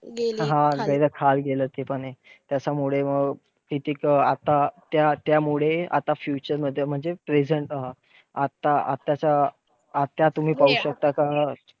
हा गेलं ते पण हे किती हाल झाले त्याच्यामुळे मग, किती आता त्या~ त्यामुळे आता future मध्ये म्हणजे present राहा. आता आता आताच्या आता तुम्ही पाहू शकता.